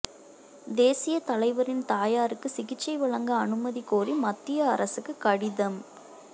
தேசியத் தலைவரின் தாயாருக்கு சிகிச்சை வழங்க அனுமதி கோரி மத்திய அரசுக்கு கடிதம்